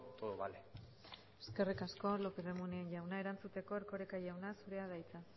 todo vale eskerrik asko lópez de munain jauna erantzuteko erkoreka jauna zurea da hitza